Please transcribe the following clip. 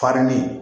Farini